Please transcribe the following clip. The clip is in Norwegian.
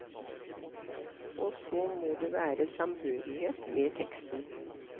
Og så må det være samhørighet med teksten.